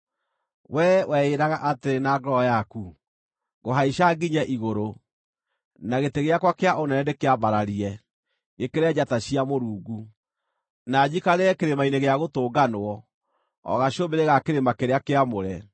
Wee weĩraga atĩrĩ na ngoro yaku, “Ngũhaica nginye igũrũ; na gĩtĩ gĩakwa kĩa ũnene ndĩkĩambararie gĩkĩre njata cia Mũrungu; na njikarĩre kĩrĩma-inĩ gĩa gũtũnganwo, o gacũmbĩrĩ ga kĩrĩma kĩrĩa kĩamũre.